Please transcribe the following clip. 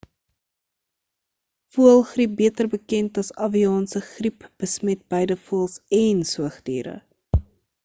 [] voëlgriep beter bekend as avianse griep besmet beide voëls en soogdiere